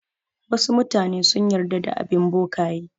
Wasu mutane sun yarda da bin bokaye.